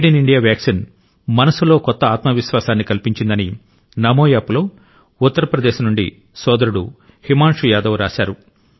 made in India vaccine మనస్సులో కొత్త ఆత్మ విశ్వాసాన్ని కల్పించిందని నమో యాప్లో ఉత్తరప్రదేశ్ నుండి సోదరుడు హిమాన్షు యాదవ్ రాశారు